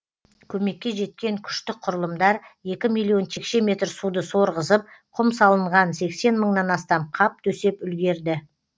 көмекке жеткен күштік құрылымдар екі миллион текше метр суды сорғызып құм салынған сексен мыңнан астам қап төсеп үлгерді